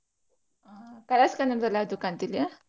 ಆ Colors Kannada ದಲ್ಲಿ ಯಾವ್ದು ಕಾಣ್ತಿಲ್ಲ್ಯ